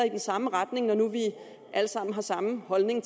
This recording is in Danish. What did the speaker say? i den samme retning når nu vi alle sammen har samme holdning